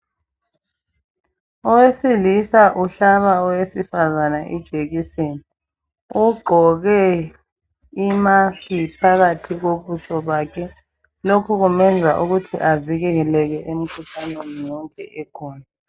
Owesilisa uhlaba owesifazana ijekiseni. Ugqoke i maski phakathi kobuso bakhe. Lokhu kumenza ukuthi avikeleke emkhuhlaneni yonke ekhona.